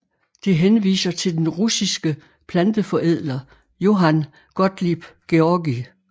Det henviser til den russiske planteforædler Johann Gottlieb Georgi